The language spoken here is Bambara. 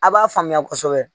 A b'a faamuya kosɛbɛ